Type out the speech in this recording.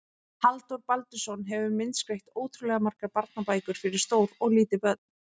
Halldór Baldursson hefur myndskreytt ótrúlega margar barnabækur fyrir stór og lítil börn.